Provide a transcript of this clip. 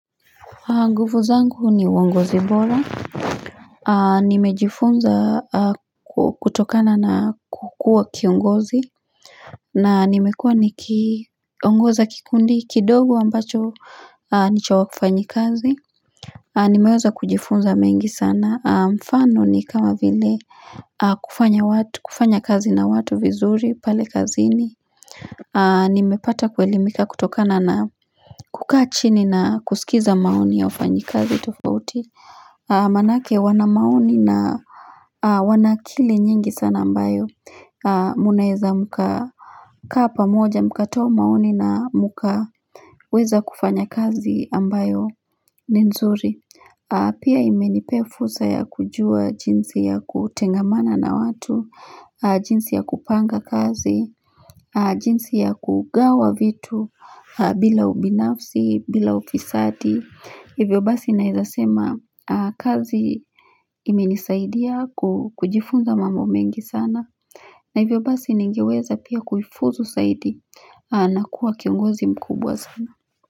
Nguvu zangu ni uongozi bora nimejifunza kutokana na kukua kiongozi na nimekua nikiongoza kikundi kidogo ambacho ni cha wafanyakazi nimeweza kujifunza mengi sana mfano ni kama vile kufanya wa kufanya kazi na watu vizuri pale kazini nimepata kuelimika kutokana na kukaa chini na kusikiza maoni ya wafanyakazi tofauti maana yake wana maoni na wanaakili nyingi sana ambayo mnaweza mkakaa pamoja mkatoa maoni na mkaweza kufanya kazi ambayo ni nzuri pia imenipea fursa ya kujua jinsi ya kutengamana na watu jinsi ya kupanga kazi jinzi ya kugawa vitu bila ubinafsi bila ufisadi hivyo basi naweza sema kazi imenisaidia kujifunza mambo mengi sana na hivyo basi ningeweza pia kuifuzu saidi na kuwa kiongozi mkubwa sana.